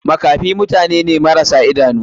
Makafi mutane ne marasa idanu.